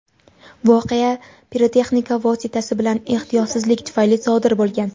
voqea pirotexnika vositasi bilan ehtiyotsizlik tufayli sodir bo‘lgan.